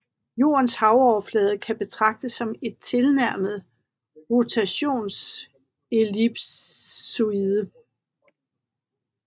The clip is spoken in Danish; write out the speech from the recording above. Jordens havoverflade kan betraktes som en tilnærmet rotationsellipsoide